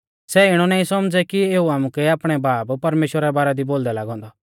सै इणौ नाईं सौमझ़ै कि एऊ आमुकै आपणै बाब परमेश्‍वरा रै बारै दी बोलदै लागौ औन्दौ